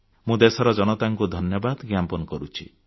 ମୁଁ ଦେଶର ଜନତାକୁ ଧନ୍ୟବାଦ ଜ୍ଞାପନ କରୁଛି